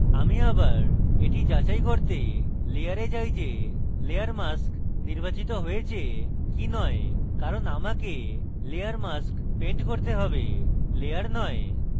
আমি আবার এটি যাচাই করতে layer যাই যে layer mask নির্বাচিত হয়েছে কি নয় কারণ আমাকে layer mask paint করতে have layer নয়